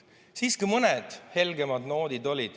Siiski olid ka mõned helgemad noodid.